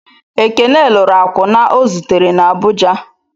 Ekene lụrụ akwụna o zutere na Abụja.